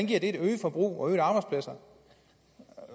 giver det et øget forbrug og et arbejdspladser